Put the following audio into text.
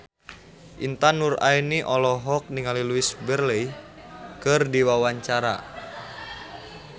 Intan Nuraini olohok ningali Louise Brealey keur diwawancara